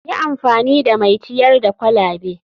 Yi amfani da mai ciyar da kwalabe.